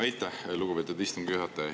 Aitäh, lugupeetud istungi juhataja!